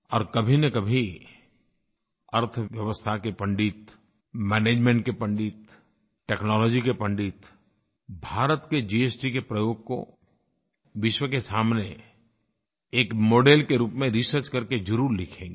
और कभीनकभी अर्थव्यवस्था के पंडित मैनेजमेंट के पंडित टेक्नोलॉजी के पंडित भारत के जीएसटी के प्रयोग को विश्व के सामने एक मॉडेल के रूप में रिसर्च करके ज़रूर लिखेंगे